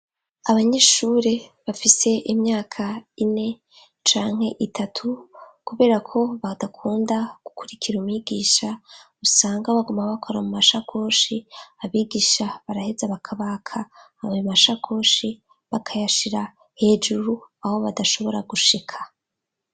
Abanyeshure bafise imyaka ine canke itatu kubera ko badakunda gukurikira umwigisha usanga baguma bakora mu mashakoshi abigisha baraheze bakabaka abbi mashakoshi bakayashira hejuru aho badashobora gushika.